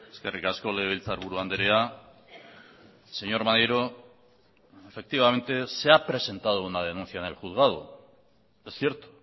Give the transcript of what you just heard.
eskerrik asko legebiltzarburu andrea señor maneiro efectivamente se ha presentado una denuncia en el juzgado es cierto